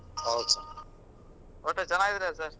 ಹೌದ್ sir ಒಟ್ಟ್ ಚನ್ನಾಗಿದ್ದೀರಾ sir .